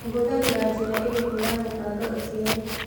Ũhũthagĩra njĩra ĩrĩkũ ya kũbanga ũciari.